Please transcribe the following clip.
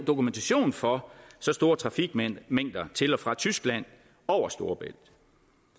dokumentation for så store trafikmængder til og fra tyskland over storebælt